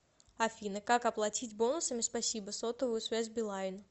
афина как оплатить бонусами спасибо сотовую связь билайн